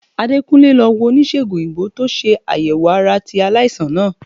Adekunle lo wo onisegun oyinbo to se ayewo ara ti alaisan naa.